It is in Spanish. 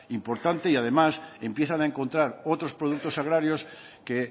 importante y además empiezan a encontrar otros productos agrarios que